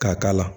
K'a kala